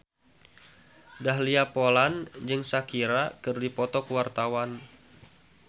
Dahlia Poland jeung Shakira keur dipoto ku wartawan